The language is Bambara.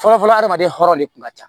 Fɔlɔfɔlɔ adamaden hɔrɔn de kun ka ca